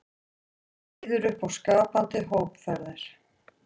Býður upp á skapandi hópferðir